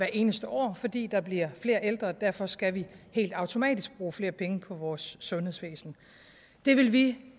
eneste år fordi der bliver flere ældre og derfor skal vi helt automatisk bruge flere penge på vores sundhedsvæsen det vil vi